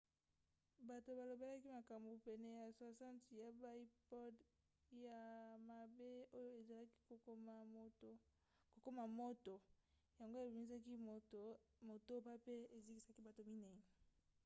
bato balobelaki makambo pene ya 60 ya baipod ya mabe oyo ezalaki kokoma moto yango ebimisaki moto motoba pe ezikisaki bato minei